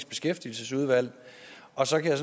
beskæftigelsesudvalg og så kan